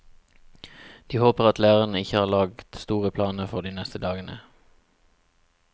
De håper at lærerne ikke har lagt store planer for de neste dagene.